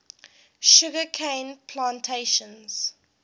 sugar cane plantations